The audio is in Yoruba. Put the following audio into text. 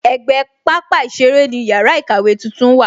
Ègbé pápá ìṣeré ni yàrá ìkàwé tuntun wà